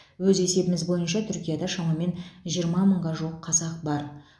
өз есебіміз бойынша түркияда шамамен жиырма мыңға жуық қазақ бар